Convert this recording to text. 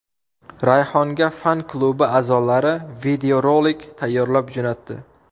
Rayhonga fan klubi a’zolari videorolik tayyorlab jo‘natdi.